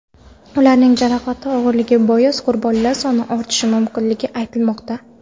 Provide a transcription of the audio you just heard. Ularning jarohati og‘irligi bois qurbonlar soni ortishi mumkinligi aytilmoqda.